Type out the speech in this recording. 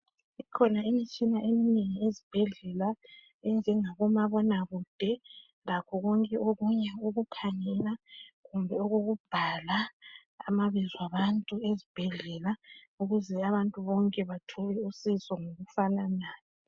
kukhona imitshina eminengi ezibhedlela enjenga bomabona kude lakho konke okunye okokukhangela kumbe okokubhala amabizo abantu ezibhedlela ukuze abantu bonke bathole usizo ngokufananayo.